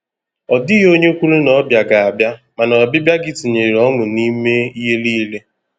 Ọ dịghị onye kwuru na ọbịa ga-abịa, mana ọbịbịa gị tinyere ọṅụ n’ime ihe niile.